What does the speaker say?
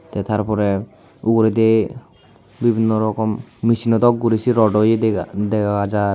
Te tar pora uguredi bibino rokom micino dok guri say rawdo ye dega dega jar.